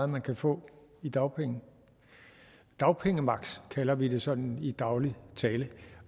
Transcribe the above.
man kan få i dagpenge dagpengemaks kalder vi det sådan i daglig tale